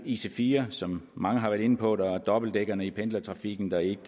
ic4 som mange har været inde på der er dobbeltdækkerne i pendlertrafikken der ikke